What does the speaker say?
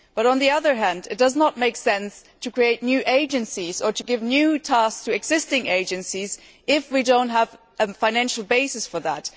However, it does not make sense to create new agencies or give new tasks to existing agencies if we do not have a financial basis for that.